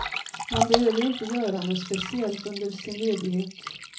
Man behöver inte göra något speciellt under sin ledighet.